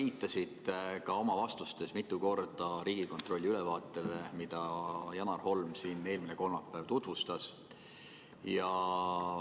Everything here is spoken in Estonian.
Sa oled oma vastustes mitu korda viidanud Riigikontrolli ülevaatele, mida Janar Holm siin eelmine kolmapäev tutvustas.